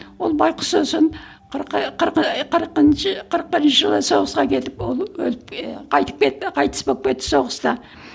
ол байғұс сосын қырық ы қырық ы қырқыншы кырық бірінші жылы соғысқа кетіп ол өліп ы қайтып кетті қайтыс болып кетті соғыста